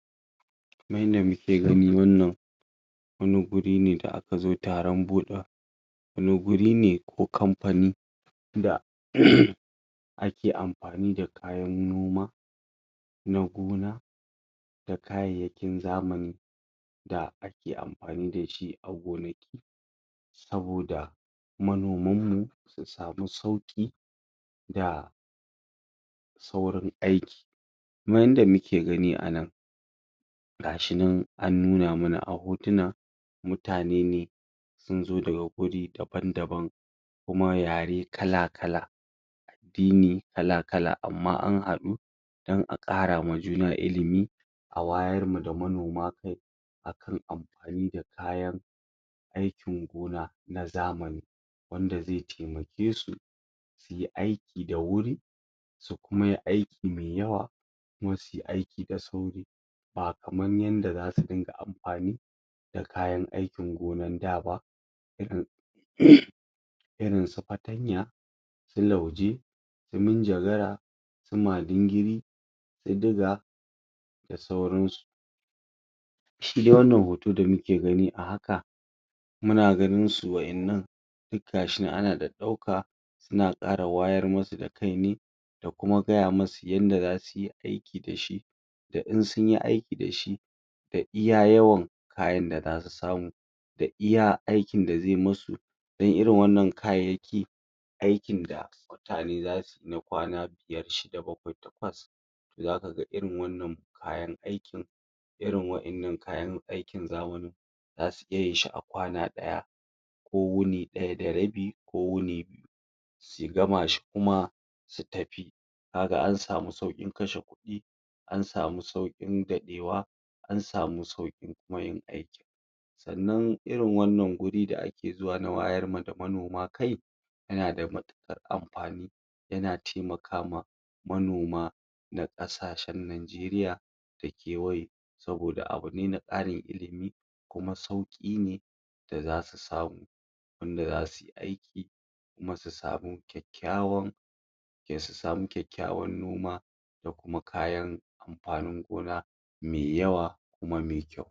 Kaman yadda muke gani wannan wani guri ne da aka zo taron buɗa wani guri ne ko kamfani da? ake amfani da kayan noma da gona da kayayyakin zamani da ake amfani da shi a gonaki saboda manoman mu su samu sauƙi da saurin aiki kuma yadda muke gani a nan gashi nan an nuna mana a hotuna mutane ne sun zo daga guri daban-daban kuma yare kala-kala addini kal-kala amma an haɗu don a ƙara ma juna ilimi a wayan ma da manoma kai akan amfani da kayan aikin gona na zamani wanda zai taimake su yayi aiki da wuri kuma yayi aiki mai yawa kuma suyi aiki da sauri ba kaman yadda zasu dinga amfani da kayan aikin gonan da ba irin? irinsu fatanya su lauje su manjagara su madingiri su diga da sauransu shi dai wannan hoto da muke gani da haka muna ganin su wa'innan duk gashi nan ana ɗaɗɗauka suna ƙara wayar musu da kai ne da kuma gaya musu yadda zasu yi aiki da shi da in sunyi aiki da shi da iya yawan kayan da zasu samu da iya aikin da zai musu don irin wannan kayayyaki aikin da mutane zasu yi na kwana biyar, shida, bakwai, takwas zaka ga irin wannan kayan aikin irin wannan kayan aikin zamanin zasu iya yin shi a kwana ɗaya ko wuni ɗaya da rabi ko biyu su gama shi kuma su tafi kaga an samu sauƙin kashe kuɗi an samu sauƙin daɗewa an samu sauƙin kuma yin aikin sannan irin wannan guri da ake zuwa na wayar ma da manoma kai yana da matuƙar amfani yana taimaka ma manoma na ƙasashen najeriya da kewaye saboda abu ne na ƙarin ilimi luma sauƙi ne da zasu samu wanda zasu yi aiki kuma su samu kyakkyawan su samu kyakkyawan noma da kuma kayan amfanin gona mai yawa kuma mai kyau.